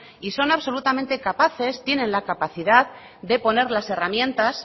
y son absolutamente capaces tienen la capacidad de poner las herramientas